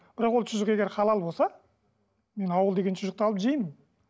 бірақ ол шұжық егер халал болса мен ауыл деген шұжықты алып жеймін